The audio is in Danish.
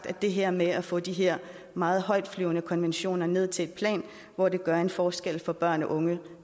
at det her med at få de her meget højtflyvende konventioner ned til et plan hvor det gør en forskel for børn og unge